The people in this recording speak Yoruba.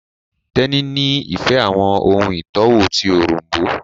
Teni ní ìfẹ àwọn ohùn itọwo ti Òrombó